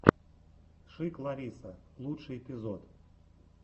шик лариса лучший эпизод